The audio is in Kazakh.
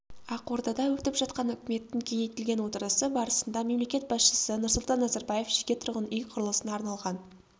ақордада өтіп жатқан үкіметтің кеңейтілген отырысы барысында мемлекет басшысы нұрсұлтан назарбаев жеке тұрғын үй құрылысына арналған